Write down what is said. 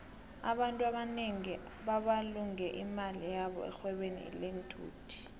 abantfu abanengi babulunge imali yabo erhwebeni lenthuthi